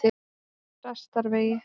Þrastarvegi